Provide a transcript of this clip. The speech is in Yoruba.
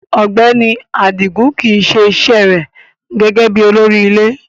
Ọgbẹni Adigun kii se ise re gege bi olori ile